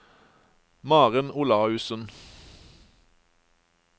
Maren Olaussen